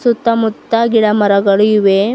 ಸುತ್ತ ಮುತ್ತ ಗಿಡ ಮರಗಳು ಇವೆ.